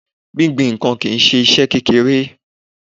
Gbingbin ǹkan kìí ṣe iṣẹ́ kékeré.